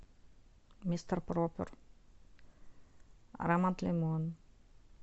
мистер пропер аромат лимон